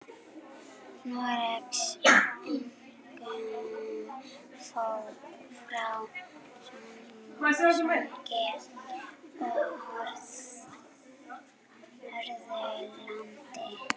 Noregs, einkum frá Sogni og Hörðalandi.